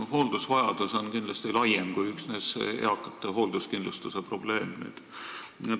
Hooldusvajadus on kindlasti laiem, see ei ole üksnes eakate hoolduskindlustuse probleem.